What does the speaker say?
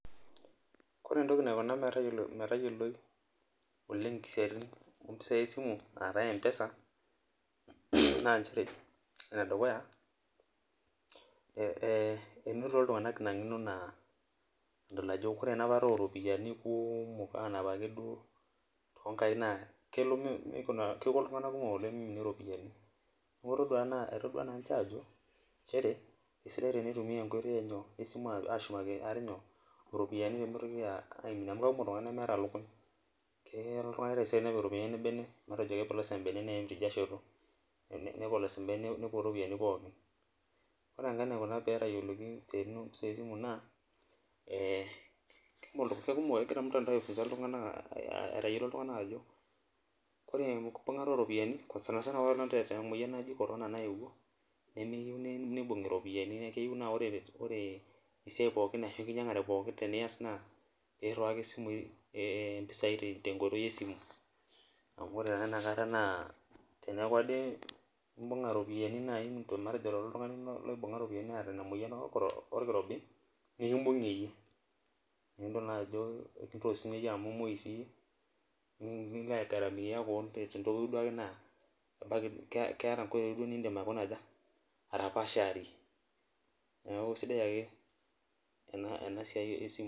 ore entoki naikuna metayioloi mpisai esimu aa taa mpesa, naa nchere, ene dukuya, enetoti iltunganak ina ngeno nadol ajo ore enapata oo ropiyiani kuumok. aanap ake duo too nkaik naa kelo nikuna, kik iltungan kumok oleng meiminie ropiyianiamu etodua naa niche aajo nchere, esidai teneitumia enkoitoi enyo esimu aashumaki ate nyoo ropiyinai pee mitoki aaiminie. amu kekumok iltunganak lemeeta lukuny. keya oltungani taisere nepik iropiyiani ebene, nepolosa ebene neim teida shoto. nepolosa ebene, nepuo ropiyiani pokin. ore enkae naikuna pee etayiolki istin kumok naa, ee kekumok, kegira ormuntandao ai funza iltunganak, aitayiolo iltunganak ajo, ore eimu enkibung'ata ooropyiani, sanisana apaelong' te moyian naji corona nayewuo, nemeyieuni neibung'i iropyiani .keyieu naa ore esiai pookin naa pee iriwaki simui, ee mpisai tenkoitoi esimu, amu ore naa inakata naa, teneeku ade imbung'a ropiyiani, matejo oltungani oota ina moyian olkirbi nikibung'ie yie. naa idol naa jo kibungie siiyie orkirobi amu imoui siiyie, nilo aigaramia kewon te ntoki duo ake naa keeta nkoitoi nidim aikuna aja, atapaasharie, neeku isidai ake ena siiai esimu.